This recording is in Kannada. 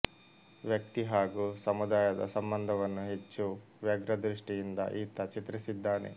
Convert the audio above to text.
ವ್ಯಕ್ತಿ ಹಾಗೂ ಸಮುದಾಯದ ಸಂಬಂಧವನ್ನು ಹೆಚ್ಚು ವ್ಯಗ್ರದೃಷ್ಟಿಯಿಂದ ಈತ ಚಿತ್ರಿಸಿದ್ದಾನೆ